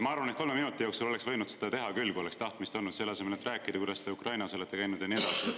Ma arvan, et kolme minuti jooksul oleks võinud seda teha küll, kui oleks tahtmist olnud, selle asemel, et rääkida, kuidas te Ukrainas olete käinud ja nii edasi.